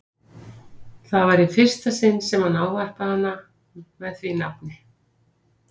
Það var í fyrsta sinn sem hann ávarpaði hana með því nafni.